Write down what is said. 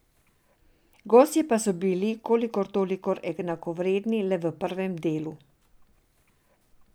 Gostje pa so bili kolikor toliko enakovredni le v prvem delu.